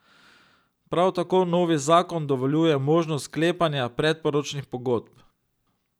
Prav tako novi zakon dovoljuje možnost sklepanja predporočnih pogodb.